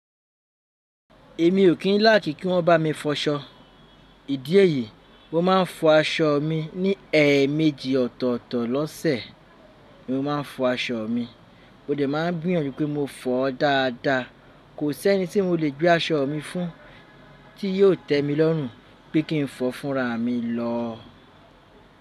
Èmi ò kí ń like kí wọ́n bá mi fọṣọ. Ìdí èyí, mo máa ń fọ aṣọ mi ní ẹẹ̀méjì ọ̀tọ̀ọ̀tọ̀ lọ́sẹ̀ ni mo máa ń fọ aṣọ mi. Mo dẹ̀ máa ń gbìyànjú pé mo fọ ọ́ dáadáa. Kò sí ẹni tí mo lè gbé aṣọ mi fún tí yio tẹ mi lọ́rùn pé kí n fọ fúnra mi lọ.